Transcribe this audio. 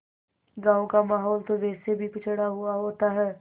गाँव का माहौल तो वैसे भी पिछड़ा हुआ होता है